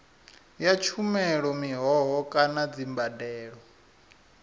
ya tshumelo mihoho kana dzimbadelo